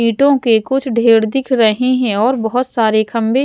ईंटों के कुछ ढेर दिख रहे हैं और बहुत सारे खंबे --